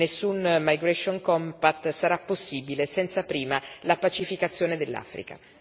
Nessun Migration Compact sarà possibile senza prima la pacificazione dell'Africa.